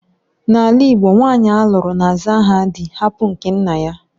N'ala igbo, nwanyị alụrụ na-aza aha dị hapụ nke nna ya